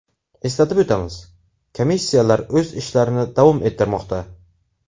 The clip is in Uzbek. Eslatib o‘tamiz, komissiyalar o‘z ishlarini davom ettirmoqda.